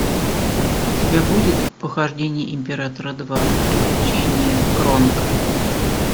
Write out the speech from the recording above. у тебя будет похождение императора два приключения кронка